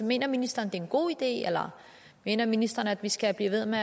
mener ministeren det er en god idé eller mener ministeren at vi skal blive ved med